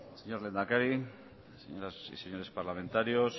señor lehendakari señoras y señores parlamentarios